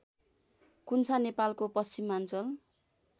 कुन्छा नेपालको पश्चिमाञ्चल